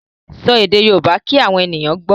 Sọ èdè Yorùbá kí àwọn èèyàn gbọ́.